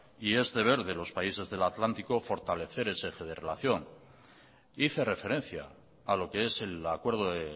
y es deber de los países del atlántico fortalecer ese eje de relación hice referencia a lo que es el acuerdo de